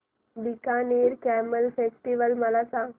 Bikaner camel festival मला सांग